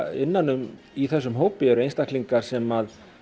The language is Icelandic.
innan um í þessum hópi eru einstaklingar sem